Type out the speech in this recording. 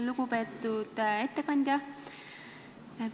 Lugupeetud ettekandja!